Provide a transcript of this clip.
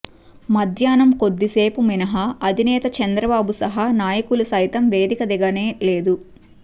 మధ్యాహ్నం కొద్దిసేపు మినహా అధినేత చంద్రబాబు సహా నాయకులు సైతం వేదిక దిగనే లేదు